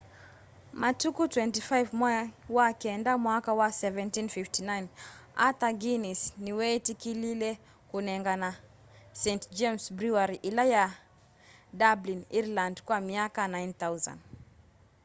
matuku 24 mwai wa kenda mwaka wa 1759 arthur guinness niweetikilile kũnengana st james brewery ila yi dublin ireland kwa myaka 9,000